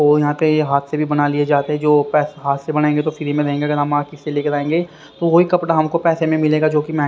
और यहां पे ये हाथ से भी बना लिए जाते हैं जो हाथ से बनाएंगे तो फ्री में रहेंगे अगर हम मार्केट से लेकर आएंगे तो वही कपड़ा हमको पैसे में मिलेगा जो कि मैं--